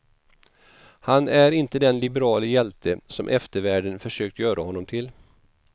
Han är inte den liberale hjälte som eftervärlden försökt göra honom till.